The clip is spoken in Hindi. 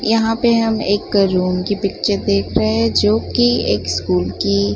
यहां पे हम एक रूम की पिक्चर देख रहे हैं जो कि एक स्कूल की--